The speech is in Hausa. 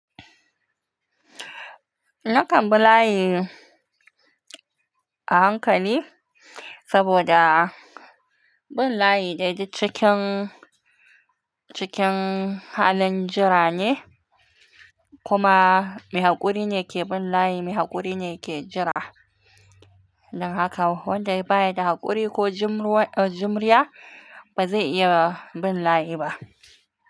Nakan bi layi a hankali saboda bin layi dai duk cikin, cikin halin jira ne, kuma mai haƙuri ne ke bin layi, mai haƙuri ne ke jira. Dan haka wanda baya da haƙuri ko jimruwa, uh, jimriya ba zai iya bin layi ba.